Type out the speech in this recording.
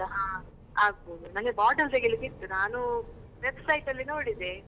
ಹಾ ಆಗಬೋದು, ನನ್ಗೆ bottle ತೆಗಿಲಿಕ್ಕೆ ಇತ್ತು. ನಾನು website ಅಲ್ಲಿ ನೋಡಿದೆ.